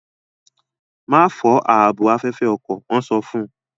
Ma fọ ààbò afẹfẹ ọkọ! wọn so fún